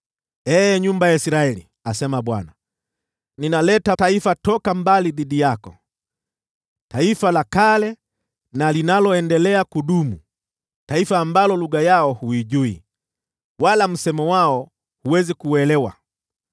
Ee nyumba ya Israeli,” asema Bwana , “Ninaleta taifa toka mbali dhidi yako, taifa la kale na linaloendelea kudumu, taifa ambalo lugha yao huijui, wala msemo wao huwezi kuuelewa.